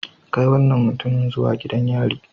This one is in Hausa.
Kai wannan mutumin zuwa gidan yari